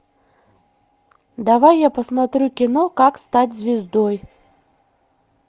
давай я посмотрю кино как стать звездой